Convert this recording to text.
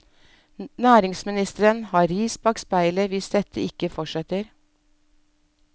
Næringsministeren har ris bak speilet hvis dette ikke fortsetter.